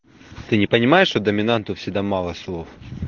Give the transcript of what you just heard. ты не понимаешь что доминанту всегда мало слов